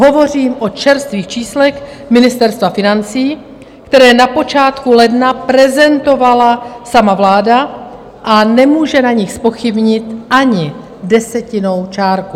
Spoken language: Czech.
Hovořím o čerstvých číslech Ministerstva financí, která na počátku ledna prezentovala sama vláda, a nemůže na nich zpochybnit ani desetinnou čárku.